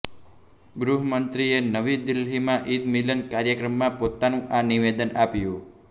ગૃહમંત્રીએ નવી દિલ્હીમાં ઈદ મિલન કાર્યક્રમમાં પોતાનું આ નિવેદન આપ્યું